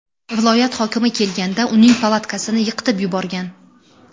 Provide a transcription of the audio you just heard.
Viloyat hokimi kelganda uning palatkasini yiqitib yuborgan.